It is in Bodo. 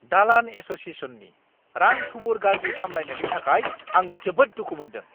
दालान एस'शिएशननि रां-थुबुर गाज्रि सामलायथायनि थाखाय आं जोबोद दुखु मोन्दों।